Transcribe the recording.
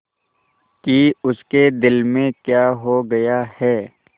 कि उसके दिल में क्या हो गया है